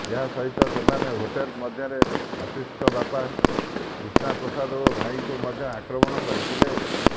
ଏହା ସହିତ ସେମାନେ ହୋଟେଲ ମଧ୍ୟରେ ଆଶିଷଙ୍କ ବାପା କ୍ରିଷ୍ଣା ପ୍ରସାଦ ଓ ଭାଇଙ୍କୁ ମଧ୍ୟ ଆକ୍ରମଣ କରିଥିଲେ